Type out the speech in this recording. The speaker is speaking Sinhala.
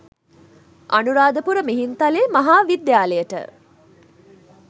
අනුරාධපුර මිහින්ත‍ලේ මහා විද්‍යාලයට